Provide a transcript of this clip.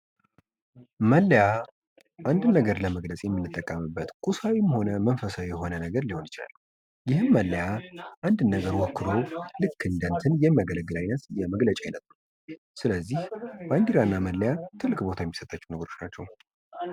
መለያ አንድን ነገር ለመግለፅ የምንጠቀምበት ቁሳዊም ሆነ መንፈሳዊ የሆነ ነገር ሊሆን ይችላል። ይህም መለያ አንድን ነገር ወክሎ ልክ እንደ እንትን የሚያገለግል አይነት የመግለጫ አይነት ነዉ። ስለዚህ ባንዲራ እና መለያ ትልቅ ቦታ የሚምጣቸዉ ናቸዉ።